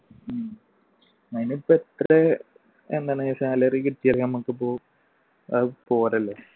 ഉം അതിനിപ്പോ എത്ര എന്താണ് salary കിട്ടിയാലും നമ്മുക്ക് ഇപ്പോ പോരല്ലോ?